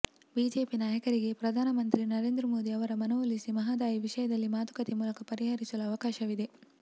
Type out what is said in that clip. BJP ನಾಯಕರಿಗೆ ಪ್ರಧಾನ ಮಂತ್ರಿ ನರೇಂದ್ರ ಮೋದಿ ಅವರ ಮನವೊಲಿಸಿ ಮಹದಾಯಿ ವಿಷಯವನ್ನು ಮಾತುಕತೆ ಮೂಲಕ ಪರಿಹರಿಸಲು ಅವಕಾಶವಿದೆ